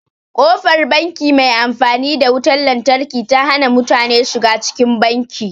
Ƙofar banki mai amfani da wutan lantarki ta hana mutane shiga cikin banki.